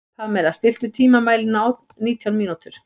Pamela, stilltu tímamælinn á nítján mínútur.